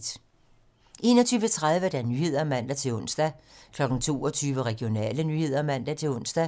21:30: 21:30 Nyhederne (man-ons) 22:00: Regionale nyheder (man-ons)